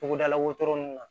Togodala wotoro nunnu na